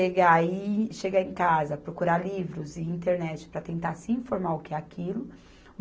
aí chegar em casa, procurar livros e internet para tentar se informar o que é aquilo.